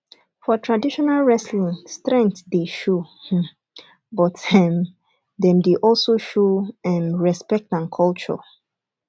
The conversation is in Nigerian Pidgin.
for traditional wrestling strength dey show um but um dem dey also show um respect and culture